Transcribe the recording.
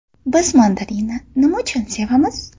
Biz mandarinni nima uchun sevamiz?.